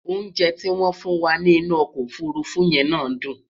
oúnjẹ ti wón fún wà nì inú ọkọ òfurufú yé ná dùn